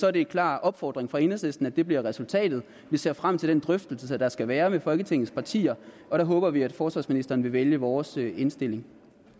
er en klar opfordring fra enhedslisten at det bliver resultatet vi ser frem til den drøftelse der skal være med folketingets partier og der håber vi at forsvarsministeren vil vælge vores indstilling